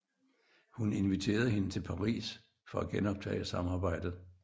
Hun inviterede hende til Paris for at genoptage samarbejdet